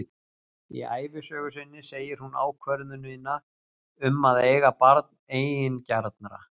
Í ævisögu sinni segir hún ákvörðunina um að eiga barn eigingjarna.